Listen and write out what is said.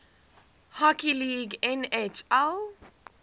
hockey league nhl